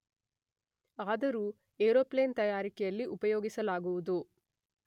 ಆದರೂ ಏರೋಪ್ಲೇನ್ ತಯಾರಿಕೆಯಲ್ಲಿ ಉಪಯೋಗಿಸಲಾಗುವುದು